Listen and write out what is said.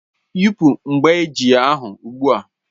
Yị́pu mgbájí ahụ ugbu a!